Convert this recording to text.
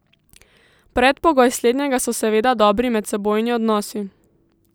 Predpogoj slednjega so seveda dobri medsebojni odnosi.